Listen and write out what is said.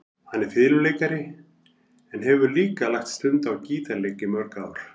Hann er fiðluleikari en hefur líka lagt stund á gítarleik í mörg ár.